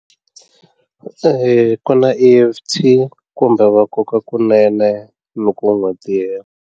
ku na E_F_T kumbe va koka kunene loko u nga tirhi.